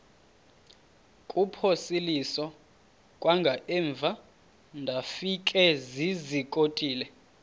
kuphosiliso kwangaemva ndafikezizikotile